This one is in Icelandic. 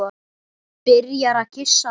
Byrjar að kyssa það.